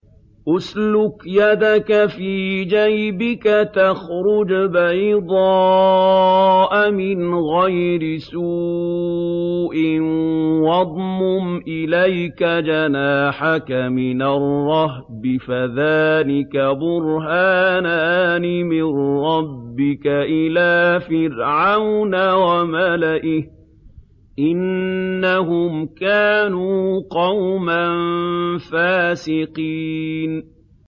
اسْلُكْ يَدَكَ فِي جَيْبِكَ تَخْرُجْ بَيْضَاءَ مِنْ غَيْرِ سُوءٍ وَاضْمُمْ إِلَيْكَ جَنَاحَكَ مِنَ الرَّهْبِ ۖ فَذَانِكَ بُرْهَانَانِ مِن رَّبِّكَ إِلَىٰ فِرْعَوْنَ وَمَلَئِهِ ۚ إِنَّهُمْ كَانُوا قَوْمًا فَاسِقِينَ